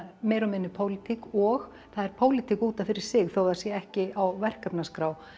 meira og minna pólitík og það er pólitík út af fyrir sig þó það sé ekki á verkefnaskrá